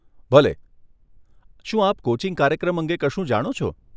ભલે, શું આપ કોચિંગ કાર્યક્રમ અંગે કશું જાણો છો?